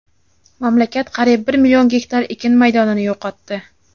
Mamlakat qariyb bir million gektar ekin maydonini yo‘qotdi.